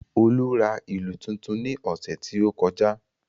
Olú ra ìlù tuntun ní ọ̀sẹ̀ tí ó kọjá